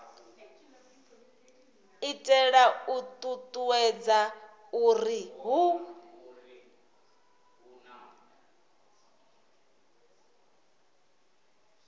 itela u ṱuṱuwedza uri hu